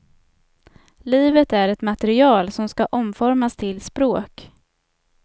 Livet är ett material, som ska omformas till språk.